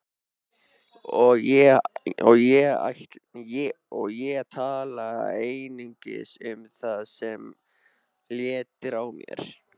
Og ég tala einungis um það sem léttir á mér.